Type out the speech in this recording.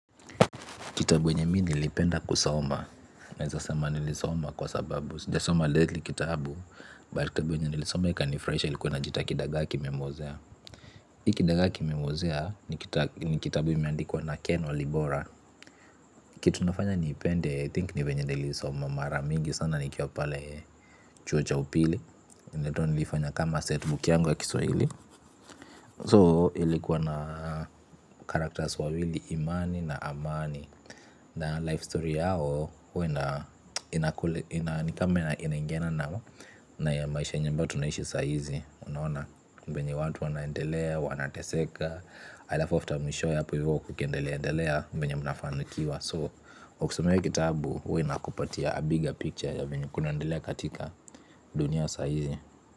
Kitabu wenye mi nilipenda kusoma, naeza sema nilisoma, kwa sababu sijasoma lately kitabu. But kitabu enye nilisoma ikanifrahisha ilikuwa inajiita kidagaa kimemozea. Hii kidagaa kimemozea, ni kitabu imeandikuwa na Ken Walibora. Kitu nafanya niipende, I think, nivenye niliisoma mara mingi sana nikwa pale chuo cha upili. Ninato nilifanya kama setbook yangu wa Kiswahili. So, ilikuwa na characters wawili imani na amani. Na life story yao, huwa ina inakule, nikama inaingiana nao. Na ya maisha yenye ambao tunaishi saaizi. Unaona, mbenye watu wanaendelea, wanateseka alafu after mwishoe apo hivo, ukiendeleaendelea, mbenye mnafanikiwa. So, ukisoma hii kitabu, huwa inakupatia a bigger picture ya venye kunaendelea katika dunia saaizi.